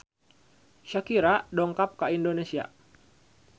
Shakira dongkap ka Indonesia